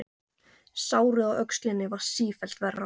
Sárið á öxlinni varð sífellt verra.